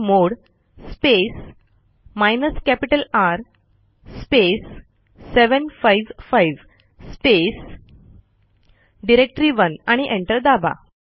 chmod space hyphen capital R space 755 space directory one आणि enter दाबा